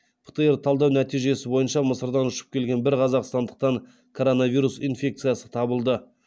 птр талдау нәтижесі бойынша мысырдан ұшып келген бір қазақстандықтан коронавирус инфекциясы табылды